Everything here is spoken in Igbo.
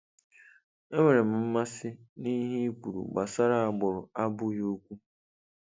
Enwere m mmasị n'ihe ị kwuru gbasara agbụrụ abụghị okwu.